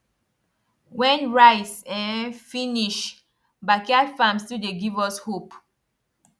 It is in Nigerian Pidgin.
when rice um finish backyard farm still dey give us hope